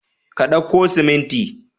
Ka dauko siminti?